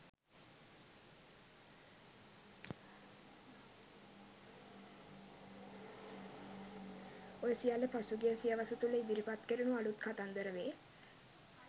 ඔය සියල්ල පසුගිය සියවස තුල ඉදිරිපත් කෙරුණු අලුත් “කතන්දර” වේ.